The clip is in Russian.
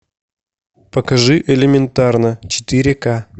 покажи элементарно четыре к